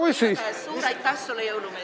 Igatahes suur aitäh sulle, jõulumees!